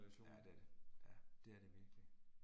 Ja det er det. Ja, det er det virkelig